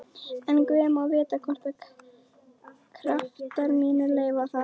En guð má vita hvort kraftar mínir leyfa það.